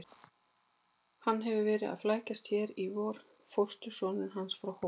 Hann hefur verið að flækjast hér í vor, fóstursonurinn hans frá Hólum.